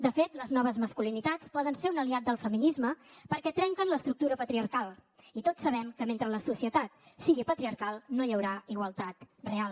de fet les noves masculinitats poden ser un aliat del feminisme perquè trenquen l’estructura patriarcal i tots sabem que mentre la societat sigui patriarcal no hi haurà igualtat real